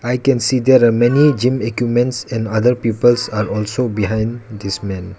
i can see there are many gym equipments and other peoples are also behind this men.